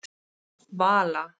Vala